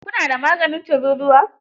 ku na da maganin tururuwa?